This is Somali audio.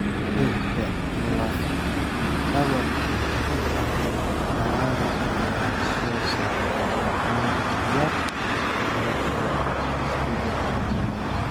Dhirta lafdhabarta u ah dalagga ayaa soo saarta abuur yar sababtoo ah isbeddelka cimilada.